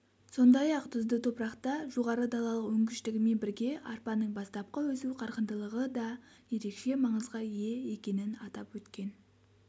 сондай-ақ тұзды топырақта жоғары далалық өнгіштігімен бірге арпаның бастапқы өсу қарқындылығы да ерекше маңызға ие екенін атап өткен